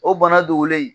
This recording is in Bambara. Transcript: O bana dogolen